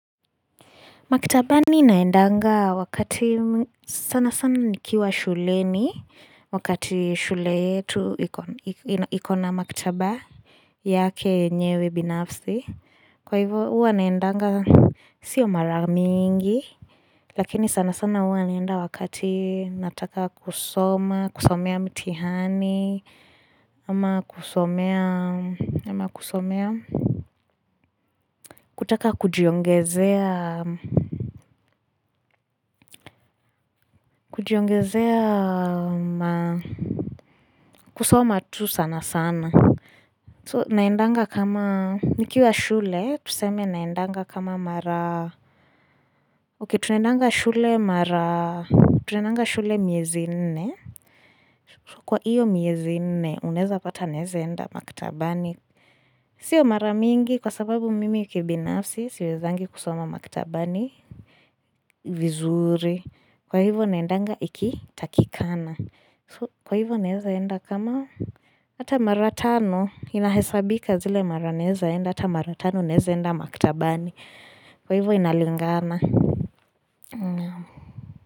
Maktabani naendanga wakati sana sana nikiwa shuleni wakati shule yetu ikona maktaba yake enyewe binafsi. Kwa hivyo huwa naendanga sio maramingi lakini sana sana huwa naenda wakati nataka kusoma, kusomea mtihani ama kusomea kutaka kujiongezea. Kujiongezea kusoma tu sana sana So naendanga kama nikiwa shule Tuseme naendanga kama mara Okay tunaendanga shule mara Tunaendanga shule miezi n nne Kwa iyo miezine unaeza pata naezenda maktabani Sio mara mingi kwa sababu mimi kibinafsi Siwezangi kusoma maktabani vizuri Kwa hivo naendanga ikitakikana Kwa hivyo naezaenda kama Hata mara tano inahesabika zile mara naezaenda Hata mara tano nezaenda maktabani Kwa hivyo inalingana.